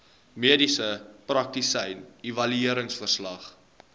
mediese praktisyn evalueringsverslag